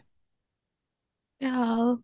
ଆଉ